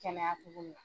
Kɛnɛya togo min na